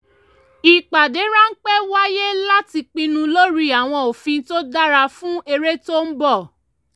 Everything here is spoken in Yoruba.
ìpádé ráńpẹ́ wáyé láti pinnu lórí àwọn òfin tó dára fún erè tó ń bọ̀